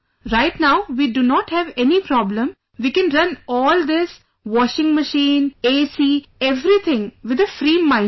Right now we do not have any problem, we can run all this... washing machine, AC, everything with a free mind, sir